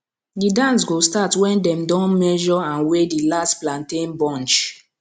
di dance go start when dem don measure and weigh di last plantain bunch